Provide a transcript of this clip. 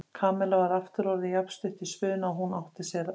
Kamilla var aftur orðin jafn stutt í spuna og hún átti að sér.